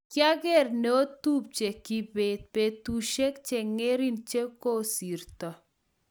Kiager neotupche Kibet petushek chengering che kosirto